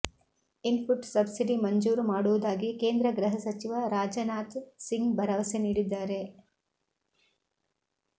input subsidy ಮಂಜೂರು ಮಾಡುವುದಾಗಿ ಕೇಂದ್ರ ಗೃಹ ಸಚಿವ ರಾಜನಾಥ್ ಸಿಂಗ್ ಭರವಸೆ ನೀಡಿದ್ದಾರೆ